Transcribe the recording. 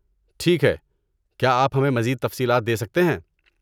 ٹھیک ہے، کیا آپ ہمیں مزید تفصیلات دے سکتے ہیں؟